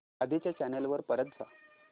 आधी च्या चॅनल वर परत जा